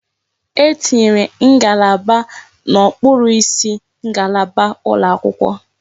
E tinyere ngalaba n'okpuru isi ngalaba ụlọ akwụkwọ.